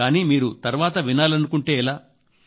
కానీ మీరు తర్వాత వినాలనుకుంటే ఎలా